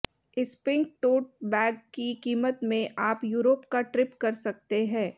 इस pink tote bag की कीमत में आप यूरोप का ट्रिप कर सकते हैं